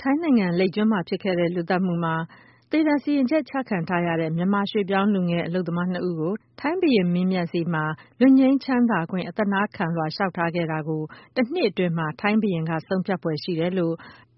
ထိုင်းနိုင်ငံမှာ လိပ်ကျွန်းလူသတ်မူနဲ့သေဒဏ်ပေးခံထားရတဲ့ မြန်မာရွှေပြောင်းလူငယ် ၂ ဦးကို ထိုင်းဘုရင်းမင်းမြတ်က သေဒဏ်ပြစ်ဒဏ်ကနေ ခွင့်လွတ်ပေးဖို့အတွက် အသနာခံထား တာနဲ့ ပတ်သက်ပြီး ထိုင်းဘုရင်က တနှစ်အတွင်းမှာ ဆုံးဖြတ်ဖွယ်ရှိတယ်လို့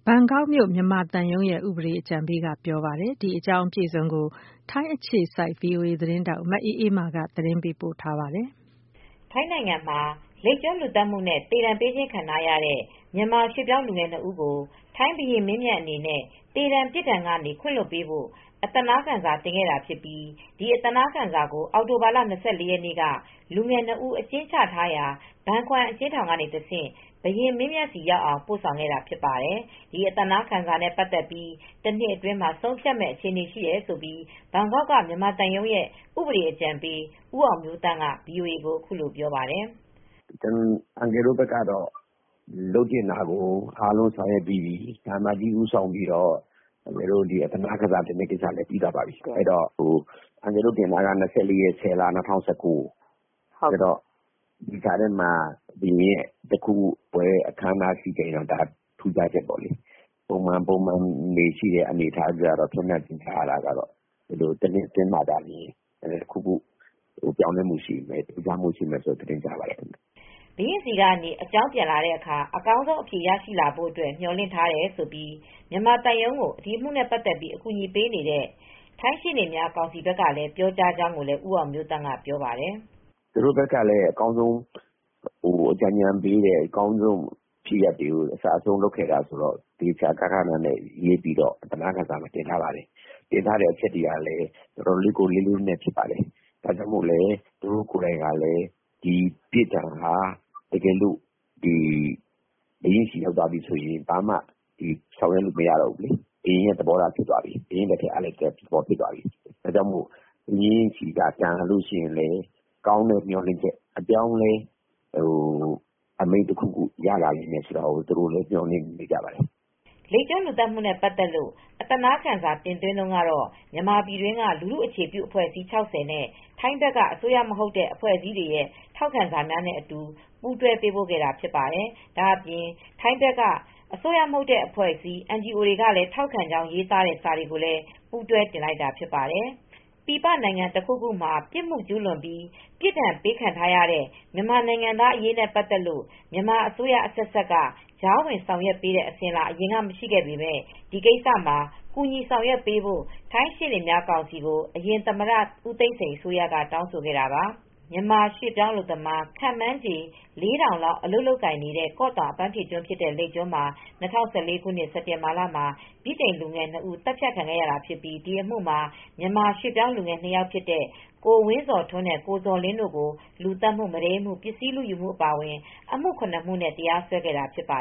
ထိုင်းနိုင်ငံဘန်ကောက်မြု ိမြန်မာသံရုံးရဲ့ ဥပဒေအကြံပေးက ပြောပါတယ်။ အပြည့်အစုံကို ဗွီအိုအေသတင်းထောက် မအေးအေးမာက သတင်းပေးပို့ထားပါတယ်။ ထိုင်းနိုင်ငံမှာ လိပ်ကျွန်းလူသတ်မူနဲ့သေဒဏ်ပေးခံထားရတဲ့ မြန်မာရွှေပြောင်းလူငယ် ၂ဦးကို ထိုင်းဘုရင်းမင်းမြတ်အနေနဲ့ သေဒဏ်ပြစ်ဒဏ်ကနေ ခွင့်လွတ်ပေးဖို့ အသနားခံစာ ကို တင်ခဲ့တာဖြစ်ပြီး ဒီအသနားခံစာကို အောက်တိုဘာလ၂၄ ရက်နေ့က လူငယ် ၂ဦး အကျဉ်းချထားရာ ဘန်ခွမ်အကျဉ်းထောင်ကတဆင့် ဘုရင်မင်းမြတ်ဆီရောက်အောင် ပို့ဆောင်ခဲ့တာဖြစ်ပါတယ်။ ဒီအသနားခံစာနဲ့ ပတ်သက်ပြီး တနှစ်အတွင်း မှာ ဆုံးဖြတ်မယ့်အခြေအနေရှိနေတယ်လို့ ဘန်ကောက်က မြန်မာသံရုံးရဲ့ ဥပဒေအကြံပေး ဦးအောင်မျိုးသန့်က ဗွီအိုအေကို အခုလိုပြောပါတယ်။ "အန်ကယ်တို့ဘက်ကတော့ လုပ်သင့်တာကို အားလုံး ဆောင်ရွက်ပြီးပြီ။ သံအမတ်ကြီးဦးဆောင်ပြီး အသနားခံစာလည်း တင်ပြီးပါပြီ။ အန်ကယ်တို့တင်တာက ၂၄ရက်နေ့ ၁၀ လ ၂၀၁၉ ဒီကြားထဲမှာ ဘုရင်ရဲ့ ပွဲတခုခုရှိရင်တော့ ထူးခြားချက်ပေါ့။ ပုံမှန်ကတော့ တနှစ်အတွင်းမှာတော့ တခုခု ပြောင်းလဲမူထူးထူးခြားမူူရှိမယ် လို့ကြားပါတယ်။ ရှေ့နေများကောင်စီ ဘက်ကနေကြားပါတယ်။" ဘုရင်ဆီက နေ အကြောင်းပြန် လာတဲ့အခါ အကောင်းဆုံး အဖြေရရှိလာဖို့ မျှော်လင့်ထားတယ်လို့၊ မြန်မာသံရုံးကို ဒီအမူနဲ့ ပတ်သက်ပြီး အကူညီပေးနေတဲ့ ထိုင်းရှေနေများကောင်စီ ဘက်က ပြောကြားကြောင်းလည်း ဦးအောင်မျိုးသန့် ကပြောပါတယ်။ "ရှေ့နေကောင်စီများဘက်ကလည်းအကောင်းဆုံးအကြံဉာဏ်ပေးတယ် အကောင်းဆုံးဖြစ်ရပ်တွေကို အစအဆုံး လုပ်ခဲ့တာဆိုတော့ အသနားခံစာတင်တဲ့အခါမှာ တင်ထားတဲ့အချက်တွေကလည်းတော်တော်လေးလေးနက်နက်ရှိတယ်။ သူတို့ကိုယ်တိုင်ကလည်း ဒီပြစ်ဒဏ်ဟာ ဘုရင်ဆီရောက်သွားရင် ဘာမှဆက်လုပ်လို့မရတော့ဘူး ဘုရင် သဘောထား ဖြစ်သွားပြီ။ ဘုရင်ရဲ့ဆုံးဖြတ်ချက်ဖြစ်သွားပြီ။ ဒီတော့ဘုရင်ဆီရောက်ပြီးရင်တော့ ကောင်းသောမျှော်လင့်ချက် အပြောင်းအလဲတခု ရသွားမယ်လို့တော့ သူတို့လည်းမျေျာ်လင့်နေပါတယ်။" လိပ်ကျွန်းလူသတ်မူနဲပတ်သက်လို့ အသနားခံစာတင်သွင်းတုန်းကတော့ မြန်မာပြည်တွင်းက လူထုအခြေပြုအဖွဲ့အစည်း ၆၀နဲ့ ထိုင်းဘက်က အစိုးရမဟုတ်တဲ့အဖွဲ့အစည်းတွေရဲ့ထောက်ခံစာများနဲ့အတူ ပူးတွဲပေးပို့ထားတာ ဖြစ်ပါတယ်။ ဒါ့အပြင် ထိုင်းဘက်က NGO တွေကလည်း ထောက်ခံကြောင်း ရေးထားတဲ့ စာတွေလည်း ပူးတွဲ တင်လိုက်တာ ဖြစ်ပါတယ်။ ပြည်ပနိုင်ငံတခုခုမှာ ပြစ်မှုကျူးလွန်ပြီး ပြစ်ဒဏ်ပေးခဲ့ထားရတဲ့ မြန်မာနိုင်ငံသားတွေအရေးနဲ့ ပတ်သက်လို့ မြန်မာအစိုးရ အဆက်ဆက်က ကြားဝင်ဆောင်ရွက်ပေးတဲ့ အစဉ်အလာ အရင်က မရှိခဲ့ပေမယ့် ဒီကိစ္စမှာ ကူညီဆောင်ရွက်ပေးဖို့ ထိုင်းရှေ့နေများကောင်စီကို အရင်သမ္မတ ဦးသိန်းစိန် အစိုးရက တောင်းဆိုခဲ့တာပါ။ မြန်မာရွှေ့ပြောင်းအလုပ်သမား ခန့်မှန်းချေ ၄,၀၀၀ လောက် အလုပ်လုပ်ကိုင်နေတဲ့ ကော့တောင် အပမ်းဖြေကျွန်းဖြစ်တဲ့ လိပ်ကျွန်းမှာ ၂၀၁၄ခုနှစ် စက်တင်ဘာလမှာ ဗြိတိန်လူငယ်၂ ဦးသတ်ခံခဲ့ရတာ ဖြစ်ပြီး ဒီအမှုမှာ မြန်မာရွှေ့ပြောင်းလူငယ် ၂ ယောက်ဖြစ်တဲ့ ကိုဝင်းဇော်ထွန်းနဲ့ ကိုဇော်လင်း တို့ကို လူသတ်မှု၊ မုဒိမ်းမှု၊ ပစ္စည်းလူယူမှု အပါအဝင် အမှု ၇ မှုနဲ့ တရားစွဲခဲ့တာ ဖြစ်ပါ